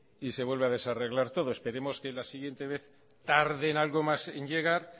y se vuelve a desarreglar todo esperemos que en la siguiente vez tarden algo más en llegar